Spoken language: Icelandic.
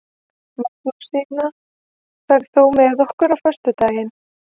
Magnúsína, ferð þú með okkur á föstudaginn?